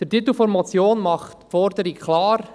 Der Titel der Motion macht die Forderung klar: